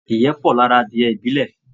Ìyẹ́ pọ̀ lára adìẹ ibilẹ̀